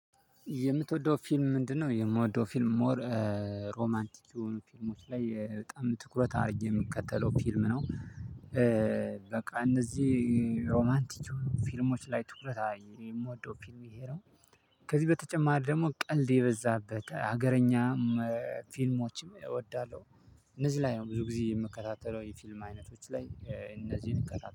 የምትወደው ፊልም ምንድነው? የምወደው ፊልም ሞር ሮማንቲክ የሆኑ ፊልሞች ላይ በጣም ትኩረት አድርጌ የምከተለው ፊልም ነው። በቃ እነዚ ሮማንቲክ የሆኑ ፊልሞች ላይ ትኩረት አርጌ የምወደው ፊልም ይሄ ነው። ከዚ በተጨማሪ ደሞ ቀልድ የበዛበት ሀገረኛም ፊልሞች እወዳለሁ። እነዚ ላይ ነው ብዙ ጊዜ የምከታተለው የፊልም አይነቶች ላይ እነዚህን እከታተላለሁ